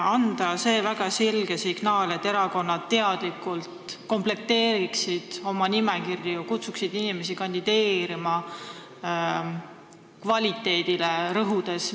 Ehk tuleks anda väga selge signaal, et erakonnad komplekteeriksid oma nimekirju teadlikult ja kutsuksid inimesi kandideerima kvaliteedile rõhudes.